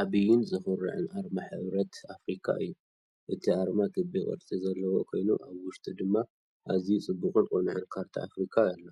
ዓቢይን ዘኹርዕን ኣርማ ሕብረት ኣፍሪቃ እዩ፡፡ እቲ ኣርማ ክቢ ቅርጺ ዘለዎ ኮይኑ፡ ኣብ ውሽጡ ድማ ኣዝዩ ጽቡቕን ቅኑዕን ካርታ ኣፍሪቃ ኣሎ።